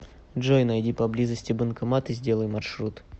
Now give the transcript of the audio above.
джой найди поблизости банкомат и сделай маршрут